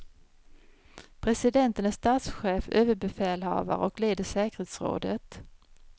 Presidenten är statschef, överbefälhavare och leder säkerhetsrådet.